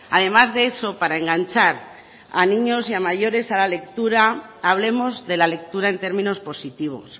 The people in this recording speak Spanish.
además de eso para enganchar a niños y mayores a la lectura hablemos de la lectura en términos positivos